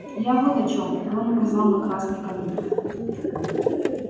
я вот о чем рон указал на красный конверт